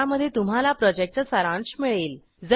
ज्यामध्ये तुम्हाला प्रॉजेक्टचा सारांश मिळेल